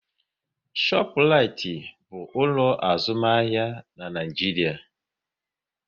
Shọpraịtị bụ ụlọ azụmahịa na Nịajiria